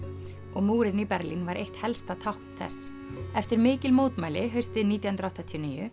og múrinn í Berlín var eitt helsta tákn þess eftir mikil mótmæli haustið nítján hundruð áttatíu og níu